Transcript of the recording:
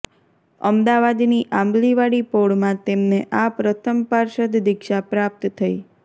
અમદાવાદની આંબલીવાળી પોળમાં તેમને આ પ્રથમ પાર્ષદ દીક્ષા પ્રાપ્ત થઈ